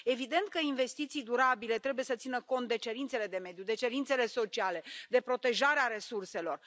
Evident că investiții durabile trebuie să țină cont de cerințele de mediu, de cerințele sociale, de protejarea resurselor.